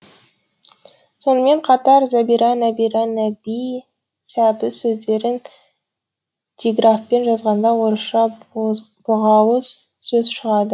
сонымен қатар зәбира нәбира нәби сәбіз сөздерін диграфпен жазғанда орысша боғауыз сөз шығады